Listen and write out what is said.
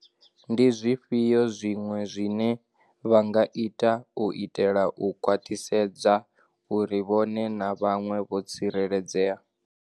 Ndi zwifhio zwiṅwe zwine vha nga ita u itela u khwaṱhisedza uri vhone na vhaṅwe vho tsi reledzea?